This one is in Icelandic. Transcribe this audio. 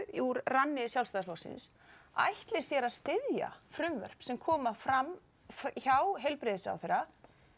úr ranni Sjálfstæðisflokksins ætli sér að styðja frumvörp sem koma fram hjá heilbrigðisráðherra